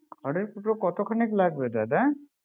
খুড়েরর কুটো কতখানিক লাগবে দাদা